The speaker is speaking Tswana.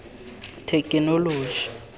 thekenoloji